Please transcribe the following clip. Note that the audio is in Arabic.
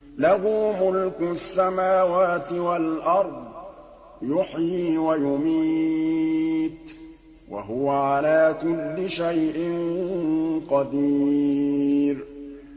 لَهُ مُلْكُ السَّمَاوَاتِ وَالْأَرْضِ ۖ يُحْيِي وَيُمِيتُ ۖ وَهُوَ عَلَىٰ كُلِّ شَيْءٍ قَدِيرٌ